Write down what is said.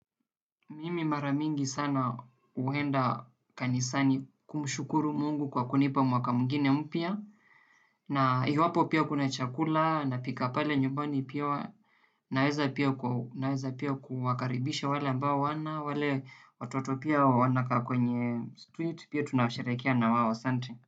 Mimi mara mingi sana uenda kanisani kumshukuru Mungu kwa kunipa mwaka mwingine mpya. Na iwapo pia kuna chakula napika pale nyumbani pia, naweza kuwakaribisha wale ambao hawana, wale pia watoto wanakaa kwenye street pia tunasherehekea na wao. Asante.